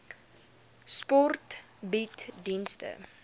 sport bied dienste